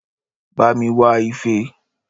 Bá mi wá ife